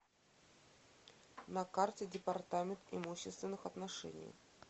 на карте департамент имущественных отношений